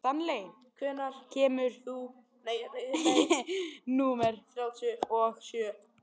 Stanley, hvenær kemur leið númer þrjátíu og sjö?